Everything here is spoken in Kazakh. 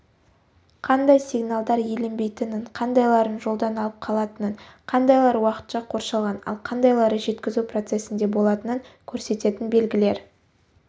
қандай сигналдар еленбейтінін қандайларын жолдан алып қалатынын қандайлар уақытша қоршалған ал қандайлары жеткізу процесінде болатынын көрсететін белгілер